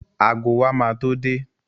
Ago wa ma tó dé